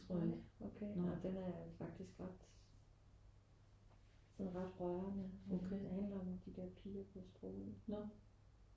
Nej okay åh den er faktisk ret sådan ret rørende. Den handler om de der piger på sprogø